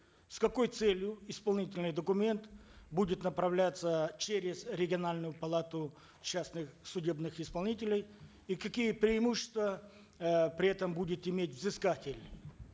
с какой целью исполнительный документ будет направляться через региональную палату частных судебных исполнителей и какие преимущества э при этом будет иметь вызскатель